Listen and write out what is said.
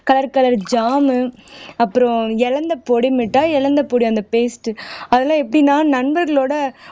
colour color jam உ அப்புறம் இலந்தைப்பொடி மிட்டாய் இலந்தைப்பொடி அந்த paste அதெல்லாம் எப்படின்னா நண்பர்களோட